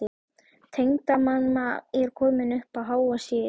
Tengdamamma er komin upp á háa sé-ið.